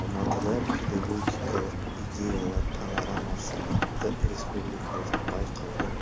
алматыда педагогикалық идеялар панорамасы атты республикалық байқаудың